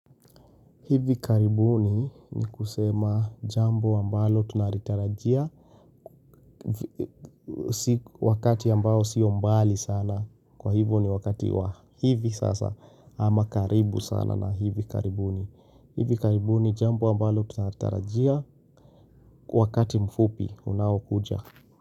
Hivi karibuni ni kusema jambo ambalo tunaritarajia wakati ambao sio mbali sana. Kwa hivo ni wakati wa hivi sasa ama karibu sana na hivi karibuni. Hivi karibuni jambo ambalo tunalitarajia wakati mfupi unao kuja.